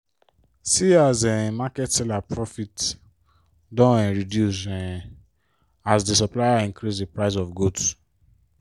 see as um market seller profit don um reduce um as di supplier increase di price of goods.